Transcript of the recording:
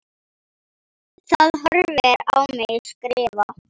Það horfir á mig skrifa.